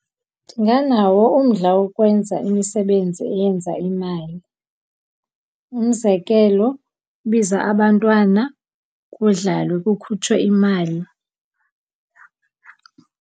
Ndinganawo umdla wokwenza imisebenzi eyenza imali. Umzekelo, biza abantwana kudlalwe, kukhutshwe imali.